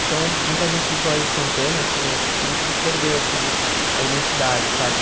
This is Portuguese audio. Então, muita gente do Colégio Santana, assim, eu sinto que perdeu, assim, a identidade, sabe?